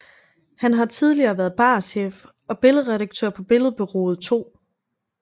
Han har tidligere været barchef og billedredaktør på Billedbureauet 2